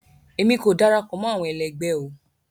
Emi ko darapọ̀ mọ́ àwọn ẹlẹgbẹ o.